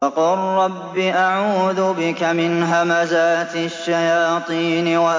وَقُل رَّبِّ أَعُوذُ بِكَ مِنْ هَمَزَاتِ الشَّيَاطِينِ